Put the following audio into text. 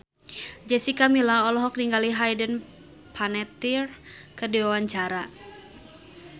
Jessica Milla olohok ningali Hayden Panettiere keur diwawancara